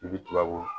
I bi tila ko